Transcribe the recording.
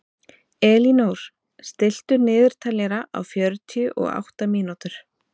Elínór, stilltu niðurteljara á fjörutíu og átta mínútur.